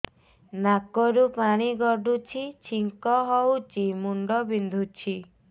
ନାକରୁ ପାଣି ଗଡୁଛି ଛିଙ୍କ ହଉଚି ମୁଣ୍ଡ ବିନ୍ଧୁଛି